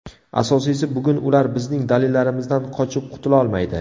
Asosiysi, bugun ular bizning dalillarimizdan qochib qutulolmaydi.